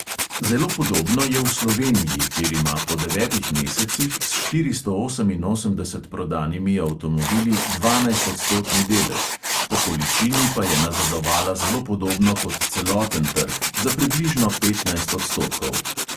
Zelo podobno je v sloveniji, kjer ima po devetih mesecih s štiristo oseminosemdeset prodanimi avtomobili dvanajstodstotni delež, po količini pa je nazadovala zelo podobno kot celoten trg, za približno petnajst odstotkov.